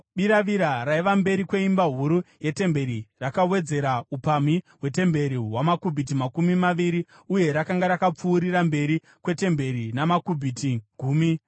Biravira raiva mberi kweimba huru yetemberi rakawedzera upamhi hwetemberi hwamakubhiti makumi maviri uye rakanga rakapfuurira mberi kwetemberi namakubhiti gumi .